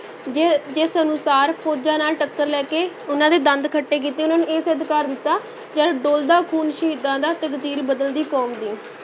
ਜਿ~ ਜਿਸ ਅਨੁਸਾਰ ਫ਼ੌਜਾਂ ਨਾਲ ਟੱਕਰ ਲੈ ਕੇ ਉਨ੍ਹਾਂ ਦੇ ਦੰਦ ਖੱਟੇ ਕੀਤੇ, ਉਹਨਾਂ ਨੂੰ ਇਹ ਸਿੱਧ ਕਰ ਦਿੱਤਾ, ਜਦ ਡੁਲਦਾ ਖੂਨ ਸ਼ਹੀਦਾਂ ਦਾ, ਤਕਦੀਰ ਬਦਲਦੀ ਕੌਮ ਦੀ।